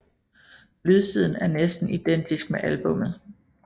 Lydsiden er næsten identisk med albummet